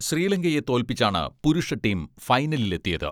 ശ്രീലങ്കയെ തോൽപ്പിച്ചാണ് പുരുഷ ടീം ഫൈനലിലെത്തിയത്.